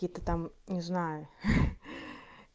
какие-то там не знаю ха-ха-